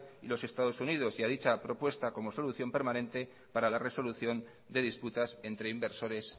y de los estados unidos y a dicha propuesta como solución permanente para la resolución de disputas entre inversores